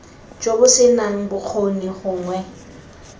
jo bo senang bokgoni gongwe